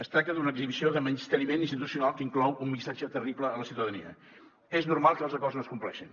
es tracta d’una exhibició de menysteniment institucional que inclou un missatge terrible a la ciutadania és normal que els acords no es compleixin